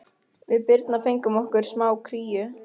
Við Birna fengum okkur smá kríu.